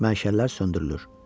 Məşəllər söndürülür.